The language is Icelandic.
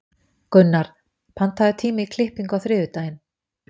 Gunnar, pantaðu tíma í klippingu á þriðjudaginn.